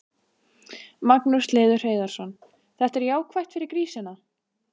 Magnús Hlynur Hreiðarsson: Þetta er jákvætt fyrir grísina?